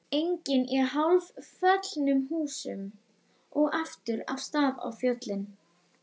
Enginn í hálfföllnum húsum og aftur af stað á fjöllin.